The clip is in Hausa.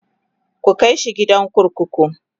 ku kaishi gidan kurkuku!